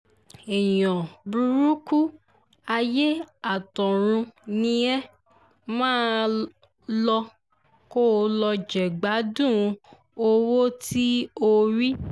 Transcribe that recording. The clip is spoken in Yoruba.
èèyàn burúkú ayé àtọ̀run ni ẹ má a lò kó o lọ jẹ̀gbádùn owó tí o rí